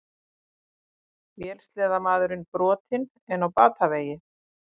Vélsleðamaðurinn brotinn en á batavegi